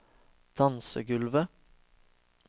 dansegulvet